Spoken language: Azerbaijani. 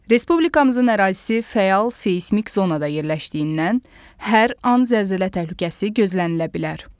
Respublikamızın ərazisi fəal seysmik zonada yerləşdiyindən hər an zəlzələ təhlükəsi gözlənilə bilər.